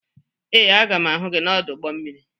Ee, a ga m ahụ gị n'ọdụ ụgbọ mmiri.